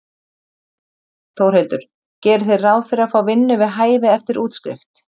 Þórhildur: Gerið þið ráð fyrir að fá vinnu við hæfi eftir útskrift?